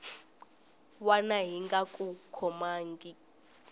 wana yi nga ku kongomangiki